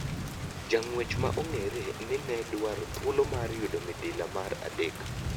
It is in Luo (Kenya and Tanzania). Jang'uech ma ong'ere ni ne dwaro thuolo mar yudo midila mar adek .